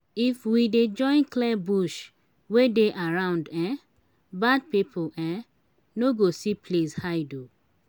if we dey join clear bush wey dey around um bad pipo um no go see place hide. um